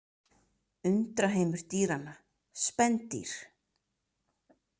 Undraheimur dýranna: Spendýr.